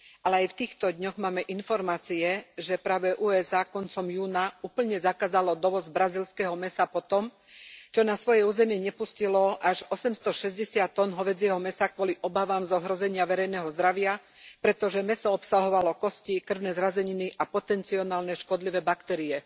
Ale aj v týchto dňoch máme informácie, že práve USA koncom júna úplne zakázalo dovoz brazílskeho mäsa po tom, čo na svoje územie nepustilo až 860 ton hovädzieho mäsa kvôli obavám z ohrozenia verejného zdravia, pretože mäso obsahovalo kosti, krvné zrazeniny a potencionálne škodlivé baktérie.